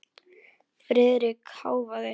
Friðrik hváði.